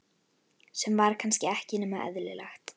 Sem var kannski ekki nema eðlilegt.